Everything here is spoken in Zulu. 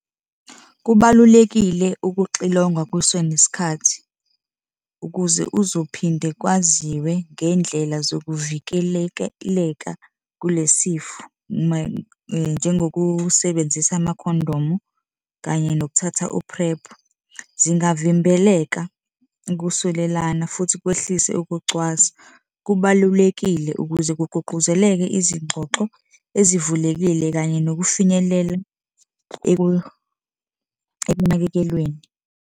Kubalulekile ukuxilongwa kusenesikhathi ukuze uzophinde kwaziwe ngey'ndlela zokuvikelekeleka kule sifo, njengokusebenzisa amakhondomu kanye nokuthatha u-PREP. Zingavimbeleka ukusulelana futhi kwehlise ukucwasa. Kubalulekile ukuze kugqugquzeleke izingxoxo ezivulekile kanye nokufinyelela ekunakekelweni.